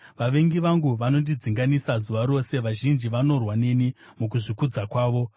Vavengi vangu vanondidzinganisa zuva rose; vazhinji vanorwa neni mukuzvikudza kwavo.